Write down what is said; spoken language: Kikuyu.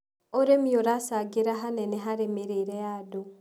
ũrĩmi ũracangĩra hanene harĩ mĩrĩire ya andũ.